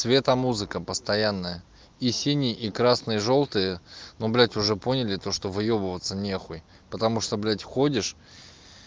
цветомузыка постоянная и синие и красные жлтые но блядь уже поняли то что выёбываться нехуй потому что блядь ходишь